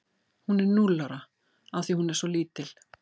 Hún er núll ára af því að hún er svo lítil.